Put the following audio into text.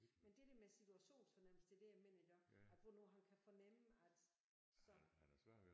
Men det der med situationsfornemmelse det det jeg mener iggå at hvornår han kan fornemme at så